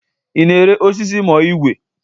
Ị na-ere osisi ma ọ igwei?